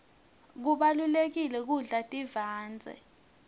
kubalulekile kudla tivandze